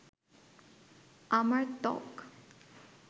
আমার ত্বক